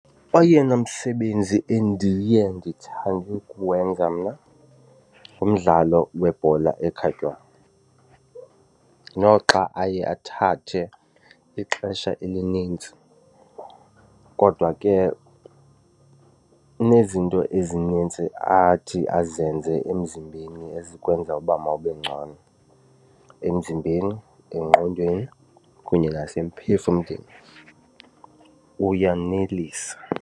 Oyena msebenzi endiye ndithande ukuwenza mna ngumdlalo webhola ekhatywayo. Noxa aye athathe ixesha elinintsi kodwa ke unezinto ndithi ezinintsi athi azenze emzimbeni ezikwenza uba mawube ngcono emzimbeni engqondweni kunye nasemphefumlweni, uyanelisa.